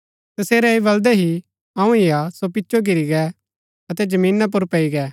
तसेरै ऐह बलदै ही अऊँ ही हा सो पिचो घिरी गै अतै जमीना पुर पैई गै